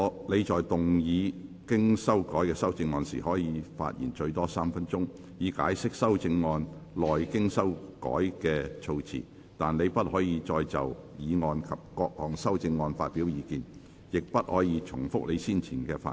你在動議經修改的修正案時，可發言最多3分鐘，以解釋修正案內經修改過的措辭，但你不可再就議案及各項修正案發表意見，亦不可重複你先前的發言。